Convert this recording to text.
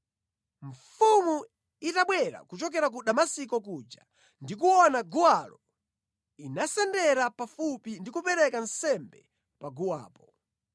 Mfumu itabwera kuchokera ku Damasiko kuja ndi kuona guwalo, inasendera pafupi ndi kupereka nsembe paguwapo.